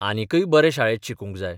आनिकय बरे शाळेत शिकूंक जाय.